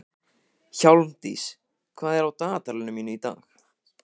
Hjálmdís, hvað er á dagatalinu mínu í dag?